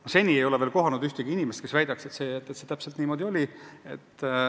Ma seni ei ole veel kohanud ühtegi inimest, kes väidaks, et see täpselt niimoodi oli.